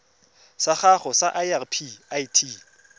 sa gago sa irp it